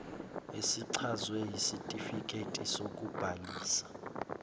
esichazwe yisitifiketi sokubhalisa